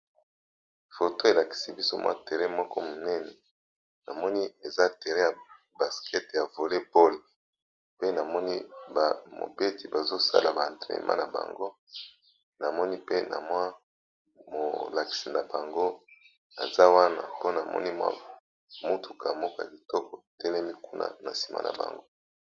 Foto elakisi biso mwa terain moko minene namoni eza terain ya baskete ya vole bole pe namoni ba mobeti bazo sala ba entrenema na bango, namoni pe na mwa molakisi na bango aza wana mpo namoni mutuka moka kitoko etelemi kuna na sima na bango.